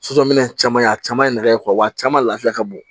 Sosominɛn caman a caman ye nɛgɛ caman lafiya ka bon